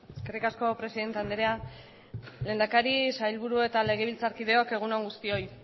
eskerrik asko presidente andrea lehendakari sailburu eta legebiltzarkideok egun on guztioi